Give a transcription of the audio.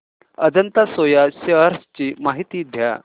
Ajanta Soya shares ची माहिती द्या